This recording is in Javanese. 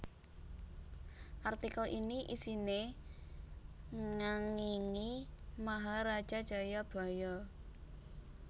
Artikel ini isiné ngéngingi Maharaja Jayabhaya